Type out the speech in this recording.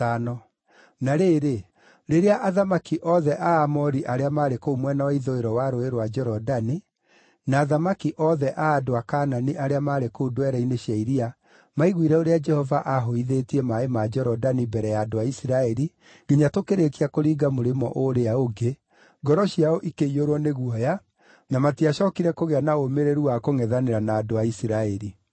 Na rĩrĩ, rĩrĩa athamaki othe a Aamori arĩa maarĩ kũu mwena wa ithũĩro wa Rũũĩ rwa Jorodani, na athamaki othe a andũ a Kaanani arĩa maarĩ kũu ndwere-inĩ cia iria maiguire ũrĩa Jehova aahũithĩtie maaĩ ma Jorodani mbere ya andũ a Isiraeli nginya tũkĩrĩĩkia kũringa mũrĩmo ũrĩa ũngĩ, ngoro ciao ikĩiyũrwo nĩ guoya, na matiacookire kũgĩa na ũũmĩrĩru wa kũngʼethanĩra na andũ a Isiraeli.